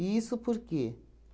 E isso por quê?